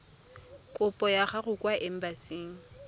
kopo ya gago kwa embasing